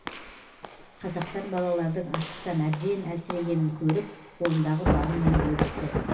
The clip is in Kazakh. қазақтар балалардың аштықтан әбден әлсірегенін көріп қолындағы барымен бөлісті